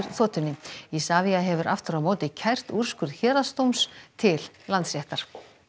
þotunni Isavia hefur aftur á móti kært úrskurð héraðsdóms til Landsréttar